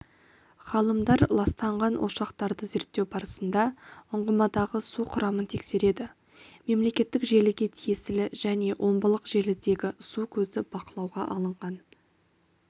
ғалымдар ластанған ошақтарды зерттеу барысында ұңғымадағы су құрамын тексереді мемлекеттік желіге тиесілі және омбылық желідегі су көзі бақылауға алынған